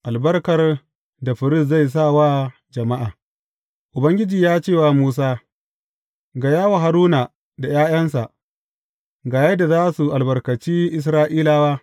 Albarkar da firist zai sa wa jama’a Ubangiji ya ce wa Musa, Gaya wa Haruna da ’ya’yansa, Ga yadda za ku albarkaci Isra’ilawa.